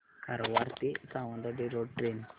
कारवार ते Sawantwadi road train